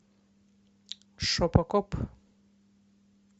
шопо коп